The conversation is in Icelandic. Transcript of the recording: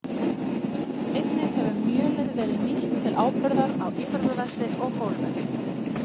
Einnig hefur mjölið verið nýtt til áburðar á íþróttavelli og golfvelli.